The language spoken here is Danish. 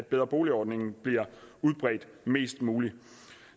bedre bolig ordningen bliver udbredt mest muligt